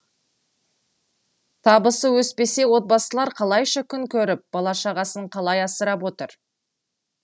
табысы өспесе отбасылар қалайша күн көріп бала шағасын қалай асырап отыр